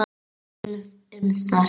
Tölum um það seinna.